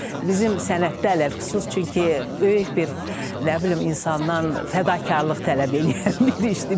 Bizim sənətdə ələlxüsus, çünki böyük bir nə bilim insandan fədakarlıq tələb eləyən bir işdir.